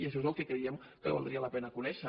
i això és el que creiem que valdria la pena conèixer